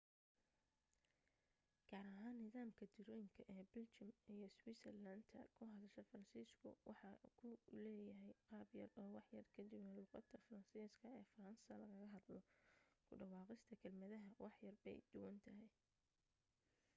gaar ahaan nidaamka tirooyinka ee biljamka iyo switzerland ta ku hadasha faransiisku waxa uu leeyahay qaabyar oo waxyar ka duwan luuqadda faransiiska ee faransa lagaga hadlo ku dhawaaqista kelmadaha waxyar bay duwan tahay